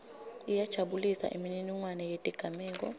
iyajabulisa imininingwane yetigameko